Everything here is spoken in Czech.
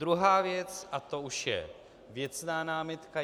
Druhá věc - a to už je věcná námitka.